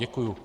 Děkuji.